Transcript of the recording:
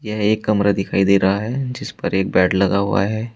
यह एक कमरा दिखाई दे रहा है जिस पर एक बेड लगा हुआ है।